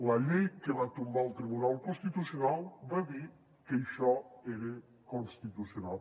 la llei que va tombar el tribunal constitucional va dir que això era constitucional